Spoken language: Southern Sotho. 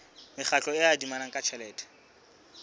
mekgatlo e adimanang ka tjhelete